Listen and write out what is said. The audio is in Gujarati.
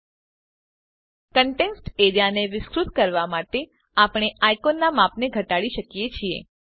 કંટેંટ્સ એરીયા સમાવિષ્ટ ક્ષેત્ર ને વિસ્તૃત કરવા માટે આપણે આઇકોનના માપને ઘટાડી શકીએ છીએ